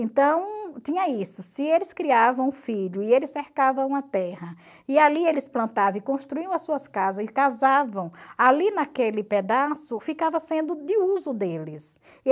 Então tinha isso, se eles criavam um filho e eles cercavam a terra e ali eles plantavam e construíam as suas casas e casavam, ali naquele pedaço ficava sendo de uso deles.